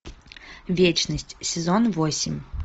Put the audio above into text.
вечность сезон восемь